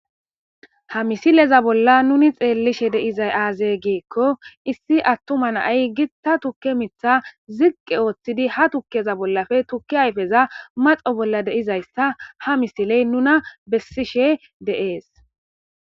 Ha misileza bolla nuni xeellishe deizay aaze geekko issi attuma naay gitta tukke mitha ziqqe ooththidi ha tukkeza bollafe tukki hayfeza maxo bolla deizaysta ha misiley nuna bessishe deees.